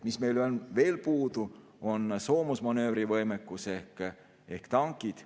Mis meil on veel puudu, on soomusmanöövrivõimekus ehk tankid.